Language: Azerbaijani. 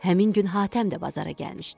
Həmin gün Hatəm də bazara gəlmişdi.